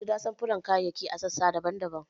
An jera samfuran kayayyaki a sassa daban-daban.